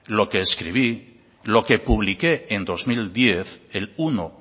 lo que escribí lo que publiqué en dos mil diez el uno